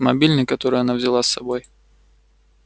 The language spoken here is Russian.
мобильный который она взяла с собой